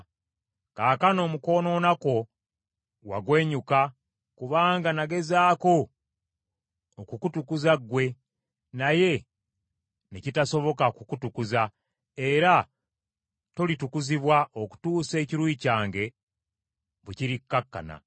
“ ‘Kaakano mu kwonoona kwo wagwenyuka, kubanga nagezaako okukutukuza ggwe, naye ne kitasoboka kukutukuza, era tolitukuzibwa okutuusa ekiruyi kyange bwe kirikkakkana.